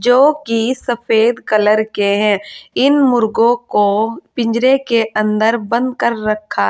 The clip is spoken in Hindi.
जो की सफेद कलर के हैं इन मुर्गों को पिंजरे के अंदर बंद कर रखा है।